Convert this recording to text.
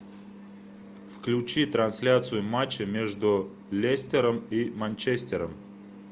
включи трансляцию матча между лестером и манчестером